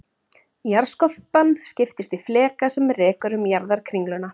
Jarðskorpan skiptist í fleka sem rekur um jarðarkringluna.